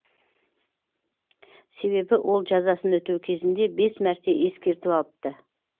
себебі ол жазасын өтеу кезінде бес мәрте ескерту алыпты